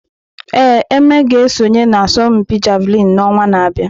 Ee, Eme ga-esonye na asọmpi Javelin n'ọnwa na-abịa.